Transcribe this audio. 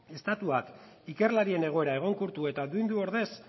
estatuak ikerlarien egoera egonkortu eta duindu ordez